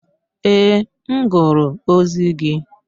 Ee, m gụrụ ozi gị.